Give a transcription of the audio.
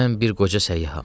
Mən bir qoca səyyaham.